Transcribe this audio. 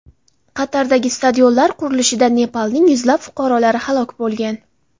Qatardagi stadionlar qurilishida Nepalning yuzlab fuqarolari halok bo‘lgan.